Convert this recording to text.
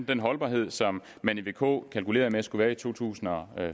den holdbarhed som man i vk kalkulerede der skulle være i to tusind og